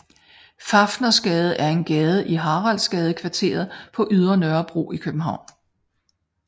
Fafnersgade er en gade i Haraldsgadekvarteret på Ydre Nørrebro i København